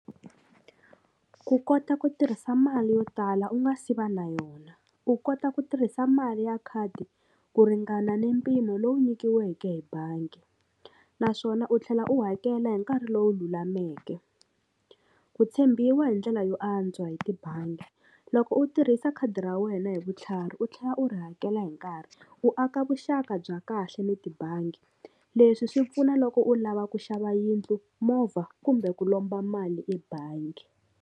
Ku kota ku tirhisa mali yo tala u nga si va na yona ku kota ku tirhisa mali ya khadi ku ringana ni mpimo lowu nyikiweke hi bangi naswona u tlhela u hakela hi nkarhi lowu lulameke ku tshembiwa hi ndlela yo antswa hi tibangi loko u tirhisa khadi ra wena hi vutlhari u tlhela u ri hakela hi nkarhi u aka vuxaka bya kahle ni tibangi leswi swi pfuna loko u lava ku xava yindlu movha kumbe ku lomba mali ebangi.